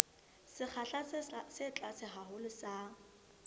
sekgahla se tlase haholo sa